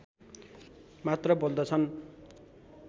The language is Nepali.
मात्र बोल्दछन्